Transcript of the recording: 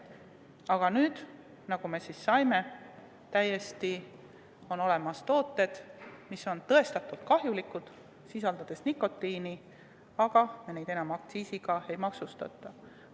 Aga nüüd, nagu me aru saime, on olemas tooted, mis on tõestatult kahjulikud, sest sisaldavad nikotiini, aga mida enam aktsiisiga ei maksustata.